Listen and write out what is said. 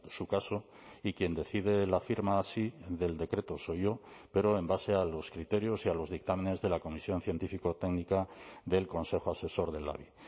su caso y quien decide la firma sí del decreto soy yo pero en base a los criterios y a los dictámenes de la comisión científico técnica del consejo asesor del labi